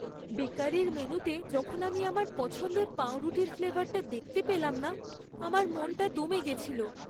বেকারির মেনুতে যখন আমি আমার পছন্দের পাঁউরুটির ফ্লেভারটা দেখতে পেলাম না, আমার মনটা দমে গেছিল।